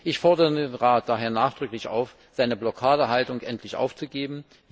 Ich fordere den Rat daher nachdrücklich auf, seine Blockadehaltung endlich aufzugeben.